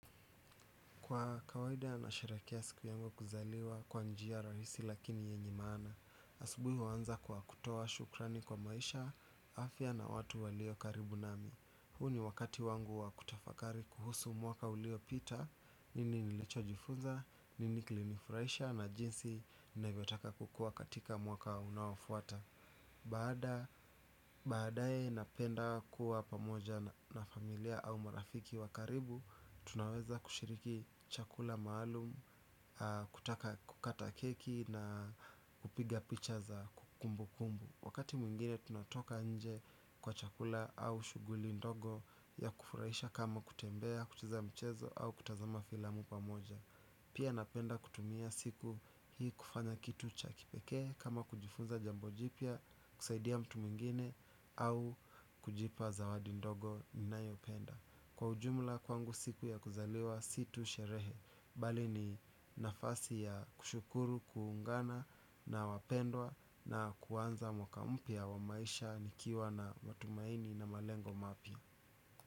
Kwa kawaida nasherekea siku yangu ya kuzaliwa kwa njia rahisi lakini yenye maana. Asubuhi uanza kwa kutoa shukrani kwa maisha, afya na watu walio karibu nami. Huu ni wakati wangu wakutafakari kuhusu mwaka uliopita, nini nilicho jifunza, nini klinifurahisha na jinsi navyotaka kukua katika mwaka unaoafuata. Baadae napenda kuwa pamoja na familia au marafiki wakaribu, tunaweza kushiriki chakula maalum, kukata keki na kupiga picha za kumbu kumbu. Wakati mwingine tunatoka nje kwa chakula au shughuli ndogo ya kufurahisha kama kutembea, kucheza mchezo au kutazama filamu pamoja. Pia, napenda kutumia siku hii kufanya kitu cha kipekee kama, kujifunza jambo jipya, kusaidia mtu mwingine au kujipa zawadi ndogo ninayopenda. Kwa ujumula kwangu siku ya kuzaliwa si tu sherehe. Bali ni, nafasi ya kushukuru, kuungana na wapendwa na kuanza mwaka mpya, wa maisha nikiwa na matumaini na malengo mapya.